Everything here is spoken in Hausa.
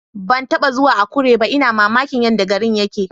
Ban taba zuwa Akure ba, ina mamakin yadda garin yake.